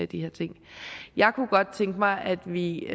de her ting jeg kunne godt tænke mig at vi